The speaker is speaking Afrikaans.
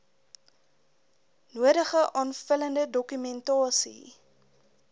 nodige aanvullende dokumentasie